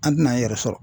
An tɛna e yɛrɛ sɔrɔ